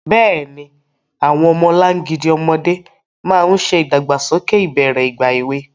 Bẹ́ẹ̀ni, àwọn ọmọlangidi ọmọdé máa ń ṣe ìdàgbàsókè ìbẹ̀rẹ̀ ìgbà èwe.